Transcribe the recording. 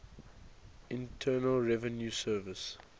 internal revenue service